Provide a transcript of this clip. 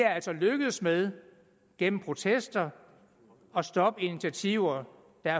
altså er lykkedes med gennem protester at stoppe initiativer der